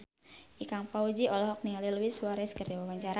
Ikang Fawzi olohok ningali Luis Suarez keur diwawancara